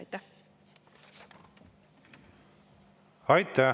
Aitäh!